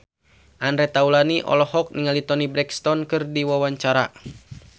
Andre Taulany olohok ningali Toni Brexton keur diwawancara